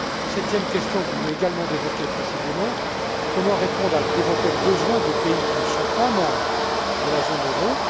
Septième question que vous venez également d'évoquer précisément comment répondre à d'éventuels besoins de pays qui ne sont pas membres de la zone euro?